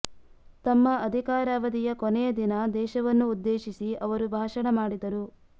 ತಮ್ಮ ಅಧಿಕಾರಾವಧಿಯ ಕೊನೆಯ ದಿನ ದೇಶವನ್ನು ಉದ್ದೇಶಿಸಿ ಅವರು ಭಾಷಣ ಮಾಡಿದರು